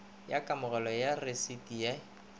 ya kamogelo ya rasiti ye